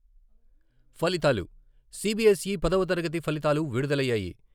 ఫలితాలు సీబీఎస్ఈ పదవ తరగతి ఫలితాలు విడుదలయ్యాయి.